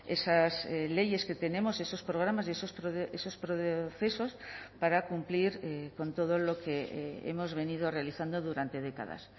esas leyes que tenemos esos programas y esos procesos para cumplir con todo lo que hemos venido realizando durante décadas